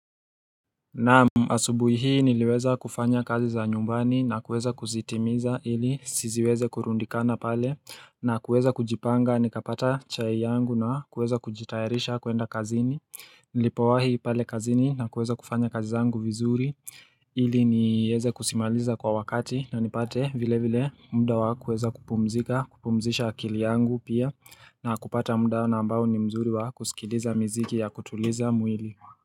Naam asubuhi hii niliweza kufanya kazi za nyumbani na kuweza kuzitimiza ili siziweze kurundikana pale na kuweza kujipanga nikapata chai yangu na kuweza kujitayarisha kuenda kazini Nilipowahi pale kazini na kuweza kufanya kazi zangu vizuri ili nijeze kusimaliza kwa wakati na nipate vile vile muda wa kuweza kupumzika kupumzisha akili yangu pia na kupata muda na ambao ni mzuri wa kusikiliza mziki ya kutuliza mwili.